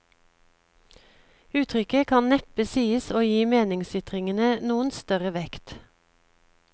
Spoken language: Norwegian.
Uttrykket kan neppe sies å gi meningsytringene noen større vekt.